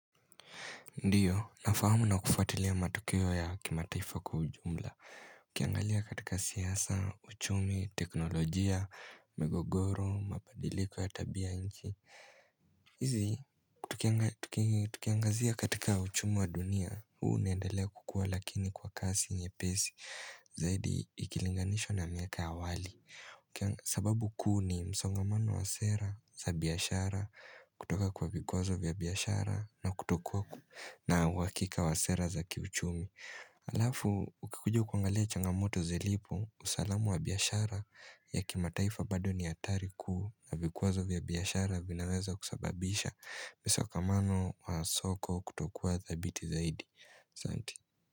Ndiyo, nafahamu na kufuatilia matukio ya kimataifa kwa ujumla. Ukiangalia katika siasa, uchumi, teknolojia, migogoro, mabadiliko ya tabia nchi. Izi, tukiangazia katika uchumi wa dunia. Huu unaendelea kukua lakini kwa kasi nyepesi, zaidi ikilinganishwa na miaka ya awali. Sababu kuu ni msongamano wa sera, za biashara, kutoka kwa vikwazo vya biashara, na kutokua na uakika wa sera za kiuchumi Alafu, ukikuja kuangalia changamoto zilipo usalama wa biashara ya kimataifa bado ni hatari kuu na vikwazo vya biyashara vinaweza kusababisha msongamano wa soko kutokuwa dhabiti zaidi.